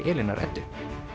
Elínar Eddu